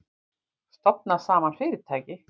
Stofna saman fyrirtæki?